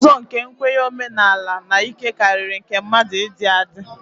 Ụzọ nke nkwenye omenala omenala na ike karịrị nke mmadụ ịdị adị